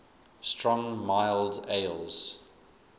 strong mild ales